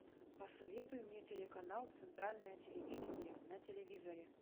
посоветуй мне телеканал центральное телевидение на телевизоре